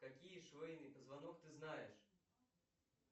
какие шейный позвонок ты знаешь